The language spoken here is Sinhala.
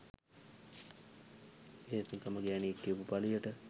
ඒත් නිකම්ම ගෑනියෙක් කියපු පලියට